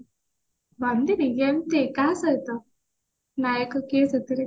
ବନ୍ଦିନୀ କେମତି କାହା ସହିତ ନାୟକ କିଏ ସେଥିରେ